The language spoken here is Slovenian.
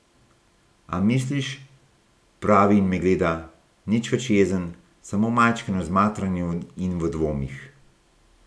A misliš, pravi in me gleda, nič več jezen, samo majčkeno zmatran in v dvomih.